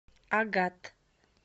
агат